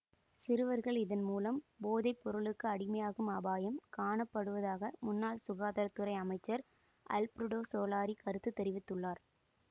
சிறுவர்கள் இதன் மூலம் போதைப்பொருளுக்கு அடிமையாகும் அபாயம் காணப்படுவதாக முன்னாள் சுகாதார துறை அமைச்சர் அல்பிரடோ சோலாரி கருத்து தெரிவித்துள்ளார்